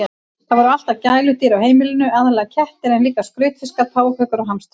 Það voru alltaf gæludýr á heimilinu, aðallega kettir en líka skrautfiskar, páfagaukar og hamstrar.